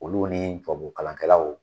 Olu ni tubabu kalankɛlaw